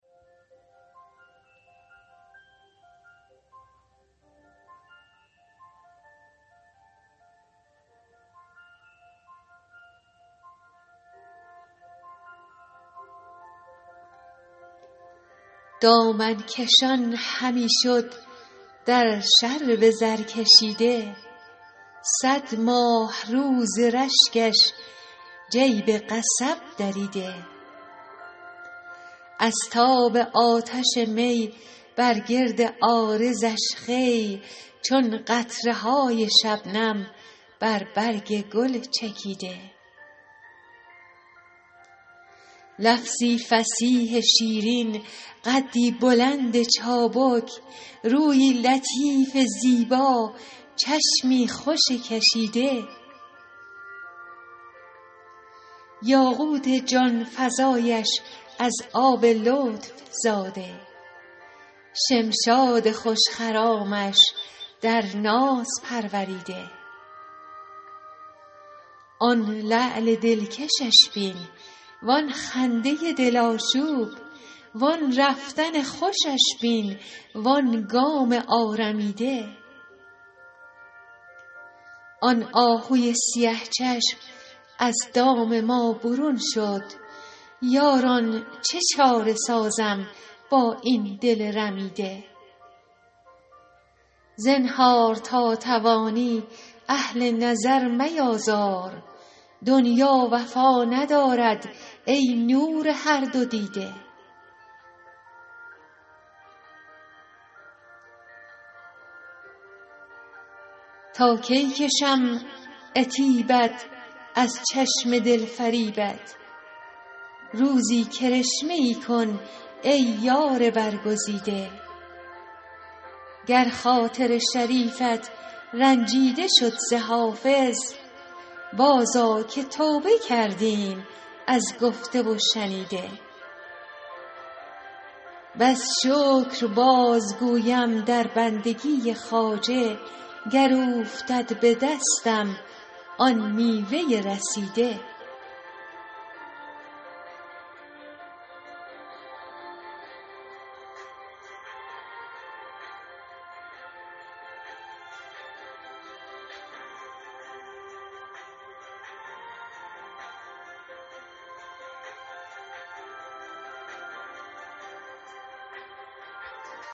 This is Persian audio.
دامن کشان همی شد در شرب زرکشیده صد ماهرو ز رشکش جیب قصب دریده از تاب آتش می بر گرد عارضش خوی چون قطره های شبنم بر برگ گل چکیده لفظی فصیح شیرین قدی بلند چابک رویی لطیف زیبا چشمی خوش کشیده یاقوت جان فزایش از آب لطف زاده شمشاد خوش خرامش در ناز پروریده آن لعل دلکشش بین وآن خنده دل آشوب وآن رفتن خوشش بین وآن گام آرمیده آن آهوی سیه چشم از دام ما برون شد یاران چه چاره سازم با این دل رمیده زنهار تا توانی اهل نظر میآزار دنیا وفا ندارد ای نور هر دو دیده تا کی کشم عتیبت از چشم دل فریبت روزی کرشمه ای کن ای یار برگزیده گر خاطر شریفت رنجیده شد ز حافظ بازآ که توبه کردیم از گفته و شنیده بس شکر بازگویم در بندگی خواجه گر اوفتد به دستم آن میوه رسیده